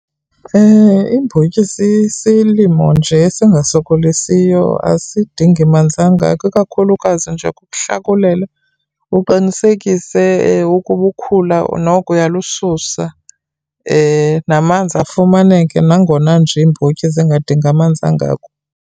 Iimbotyi sisilimo nje esingasokolisiyo, asidingi manzi angako. Ikakhulukazi nje kukuhlakulela uqinisekise ukuba ukhula noko uya lususa, namanzi afumaneke nangona nje iimbotyi zingadingi amanzi angako.